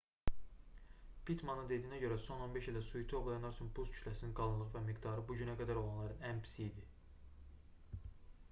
pittmanın dediyinə görə son 15 ildə suiti ovlayanlar üçün buz kütləsinin qalınlığı və miqdarı bu günə qədər olanların ən pisi idi